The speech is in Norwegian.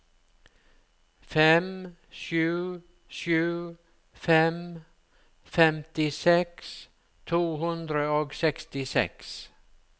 fem sju sju fem femtiseks to hundre og sekstiseks